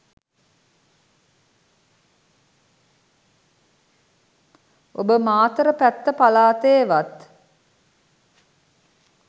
ඔබ මාතර පැත්ත පළාතෙවත්